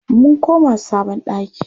Mun koma sabon ɗaki.